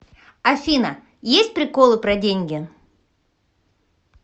афина есть приколы про деньги